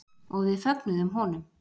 Og við fögnuðum honum.